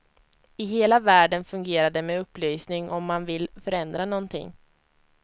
I hela världen fungerar det med upplysning om man vill förändra någonting.